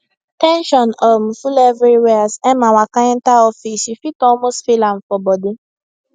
ten sion um full everywhere as emma waka enter office you fit almost feel am for body